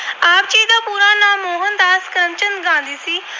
ਚੰਦ Gandhi ਸੀ।